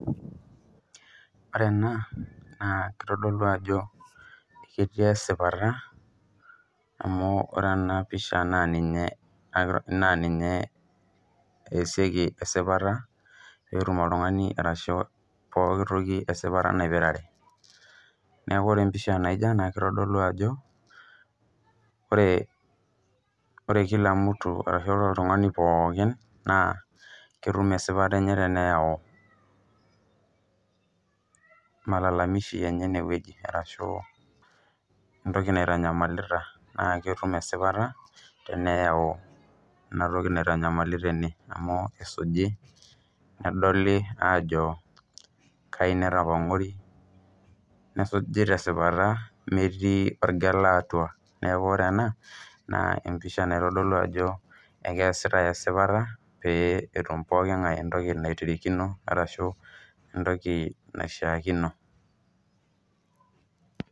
Ore ena naa keitodolu ajoo ketii sipaata amu ore ena pishaa naa ninyee easie esipaata pee etuum ltung'ana arashu pooki ntokii e sipaata naipiraree. Neeku ore pishaa naijoo ena ketodolu ajoo ore kila arashu ltung'ani pookin naa ketuum esipaat enyee teneyau malalamishi enye newueji arashu ntokii neitanyamalita naa ketuum esipaata teneyau enia ntokii neitanyamalita ene amu kesujii nedolii ajoo kajii netapong'ori, nesuuji te supaat metii ooljelaa atua. Neeku ore ena naa epishaa naitodolu ajoo ekesitai supaata pee etuum pooki ng'aii ntokii netirikino arashu ntokii naishaakino.